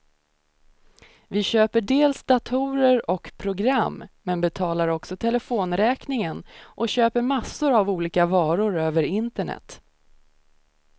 Vi köper dels datorer och program, men betalar också telefonräkningen och köper massor av olika varor över internet.